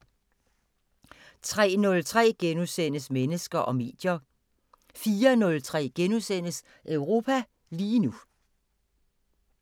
03:03: Mennesker og medier * 04:03: Europa lige nu *